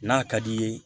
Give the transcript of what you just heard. N'a ka d'i ye